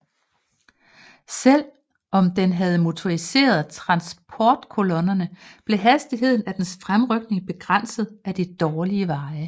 Selvom den havde motoriseret tranportkolonner blev hastigheden af dens fremrykning begrænset af de dårlige veje